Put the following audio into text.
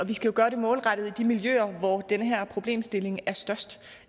vi skal gøre det målrettet i de miljøer hvor den her problemstilling er størst